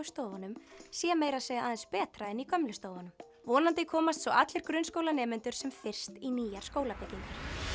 stofunum sé meira að segja aðeins betra en í gömlu stofunum vonandi komast svo allir grunnskólanemendur sem fyrst í nýjar skólabyggingar